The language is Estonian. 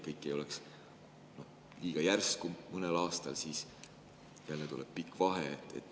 See ei oleks nii, et kõik tuleb liiga järsku või mõnel aastal jälle tuleb pikk vahe.